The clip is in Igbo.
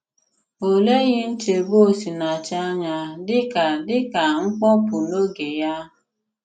Ọ̀ lèghì nchébù Osìnàchì ànyà dị ka dị ka mkpopu n’òge Yà.